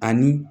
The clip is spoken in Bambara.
Ani